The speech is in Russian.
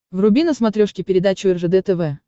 вруби на смотрешке передачу ржд тв